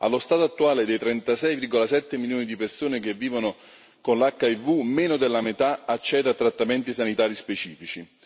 Allo stato attuale, dei 36,7 milioni di persone che vivono con l'HIV, meno della metà accede a trattamenti sanitari specifici.